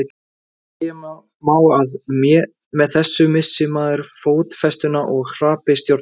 segja má að með þessu missi maður fótfestuna og hrapi stjórnlaust